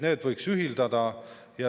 Need võiks ühendada.